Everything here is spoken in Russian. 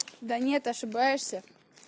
да нет ошибаешься